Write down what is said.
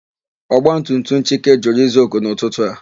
Ọgbatumtum Chike jụrụ ịza oku n'ụtụtụ a.